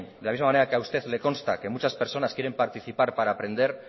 de la misma manera que a usted le consta que muchas personas quieren participar para aprender